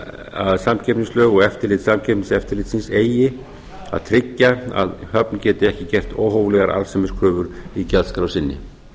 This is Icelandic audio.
að samkeppnislög og eftirlit samkeppniseftirlitsins eigi að tryggja að höfn geti ekki gert óhóflegar arðsemiskröfur í gjaldskrá sinni